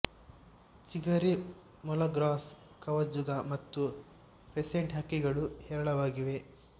ಚಿಗರಿ ಮೊಲ ಗ್ರೌಸ್ ಕವಜುಗ ಮತ್ತು ಫೆಸೆಂಟ್ ಹಕ್ಕಿಗಳು ಹೇರಳವಾಗಿವೆ